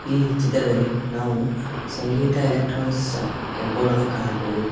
ಈ ಚಿತ್ರದಲ್ಲಿ ನಾವು ಒಂದು ಸಂಗೀತ ಎಲೆಕ್ಟ್ರಾನ್ಸ್ ಬೋರ್ಡನ್ನು ಕಾಣಬಹುದು.